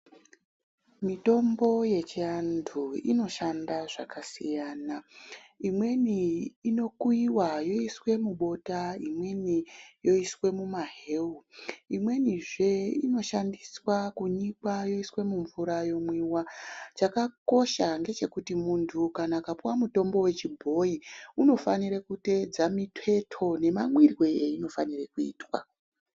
Mitombo yechiantu inoshanda zvakasiyana imweni inokuyiwa yoiswe mubota imweni yoiswe mumahewu, imwenizve inoshandiswa kunyikwa yoiswe mumvura yomwiwa chakakosha ngechekuti muntu kana akapuwa mushonga wechibhoyi unofanire kuteedza miteto nemamwirwe ainofanirwe kuitwa.